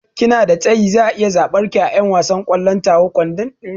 Kina da tsayi, zaa iya tsabar ki a 'yan wasan kwallon kwandon tawa shekera